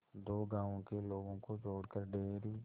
दो गांवों के लोगों को जोड़कर डेयरी